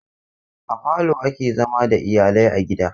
A falo ake zama da iyalai a gida.